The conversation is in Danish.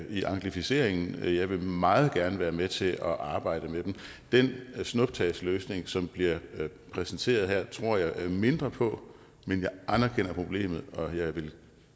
i anglificeringen jeg vil meget gerne være med til at arbejde med dem den snuptagsløsning som bliver præsenteret her tror jeg mindre på men jeg anerkender problemet og jeg vil